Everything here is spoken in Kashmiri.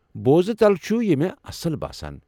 بوزنہٕ تلہٕ چھُ یہِ مے٘ اصٕل باسان۔